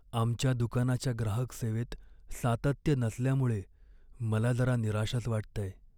आमच्या दुकानाच्या ग्राहक सेवेत सातत्य नसल्यामुळे मला जरा निराशच वाटतंय.